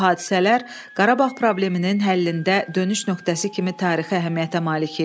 Bu hadisələr Qarabağ probleminin həllində dönüş nöqtəsi kimi tarixi əhəmiyyətə malik idi.